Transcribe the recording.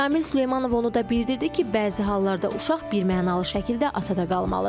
Ramil Süleymanov onu da bildirdi ki, bəzi hallarda uşaq birmənalı şəkildə atada qalmalıdır.